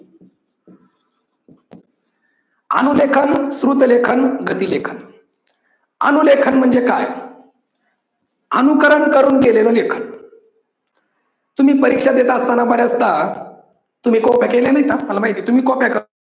अनु लेखन, श्रुत लेखन, गती लेखन. अनुलेखन म्हणजे काय? अनुकरण करून केलेलं लेखन. तुम्ही परीक्षा देत असतांना बऱ्याच दा तुम्ही कॉप्या केल्या नाही का? मला माहित आहे तुम्ही कॉप्या